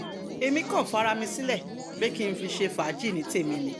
èmi kan fara mi sílẹ̀ pé kí n fi ṣe fàájì ní tèmi ni